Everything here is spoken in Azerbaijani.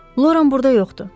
Loran burda yoxdur.